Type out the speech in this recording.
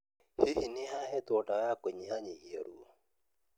Hihi, nĩ ahetwo dawa ya kũnyihanyihia ruo?